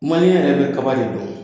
Maliɲɛ yɛrɛ bɛ kaba de don.